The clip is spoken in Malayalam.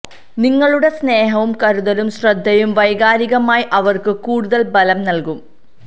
നിങ്ങളുടെ സ്നേഹവും കരുതലും ശ്രദ്ധയും വൈകാരികമായി അവര്ക്ക് കൂടുതല് ബലം നല്കും